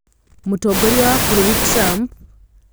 Mũtongoria wa bũrũri Trump arakuruhanio na thitango ĩrĩkũ?